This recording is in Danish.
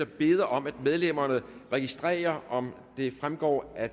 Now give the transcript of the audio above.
beder om at medlemmerne registrerer om det fremgår af